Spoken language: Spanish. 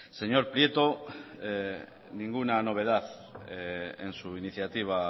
señor prieto ninguna novedad en su iniciativa